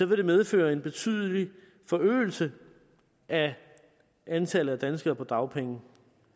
vil medføre en betydelig forøgelse af antallet af danskere på dagpenge